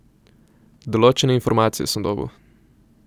Določene informacije sem dobil.